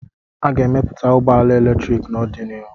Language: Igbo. A ga-emepụta ụgbọ ala eletrik n'ọdịnihu